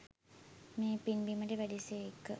මේ පින් බිමට වැඩි සේක.